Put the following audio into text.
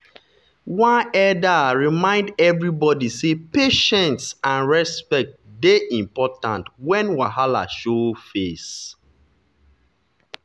one elder remind everybody say patience and respect dey important when wahala show face.